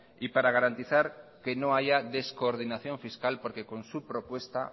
y para garantizar que no haya descoordinación fiscal porque con su propuesta